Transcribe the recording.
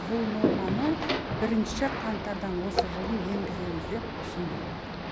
бұл норманы бірінші қаңтардан осы жылдың енгіземіз деп ұсындық